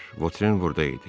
Votren burada idi.